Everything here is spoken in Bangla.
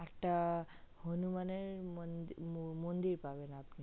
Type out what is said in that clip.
একটা হনুমানের মন্দির পাবেন